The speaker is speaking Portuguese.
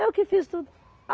Eu que fiz tudo.